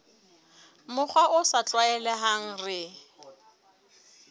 mokgwa o sa tlwaelehang re